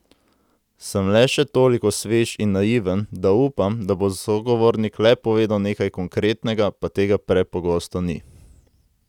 Sem le še toliko svež in naiven, da upam, da bo sogovornik le povedal nekaj konkretnega, pa tega prepogosto ni.